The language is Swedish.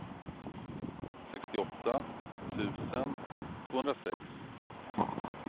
sextioåtta tusen tvåhundrasex